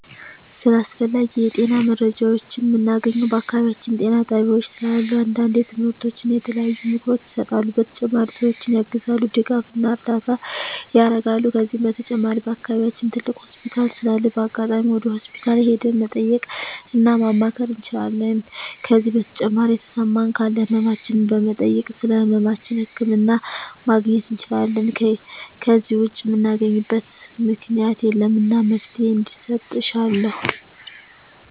ስለ አስፈላጊ የጤና መረጃዎችን ምናገኘው በአካባቢያችን ጤና ጣቤያዎች ስላሉ አንዳንዴ ትምህርቶች እና የተለያዩ ምክሮች ይሰጣሉ በተጨማሪ ሰዎችን ያግዛሉ ድጋፍና እርዳታ ያረጋሉ ከዚህ በተጨማሪ በአከባቢያችን ትልቅ ሆስፒታል ስላለ በአጋጣሚ ወደ ሆስፒታል ሄደን መጠየቅ እና ማማከር እንችላለን ከዜ በተጨማሪ የተሰማን ካለ ህመማችን በመጠየክ ስለህመማችን ህክምና ማግኘት እንችላለን ከዜ ውጭ ምናገኝበት ምክኛት የለም እና መፍትሔ እንዲሰጥ እሻለሁ